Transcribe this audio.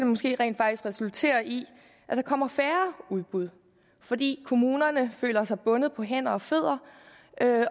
måske rent faktisk resultere i at der kommer færre udbud fordi kommunerne føler sig bundet på hænder og fødder